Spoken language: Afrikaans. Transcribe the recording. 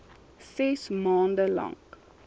ses maande lank